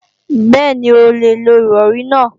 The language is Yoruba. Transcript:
Bẹ́ẹ̀ni, o lè lo Ìrọ̀rí náà